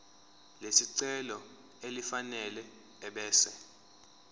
lesicelo elifanele ebese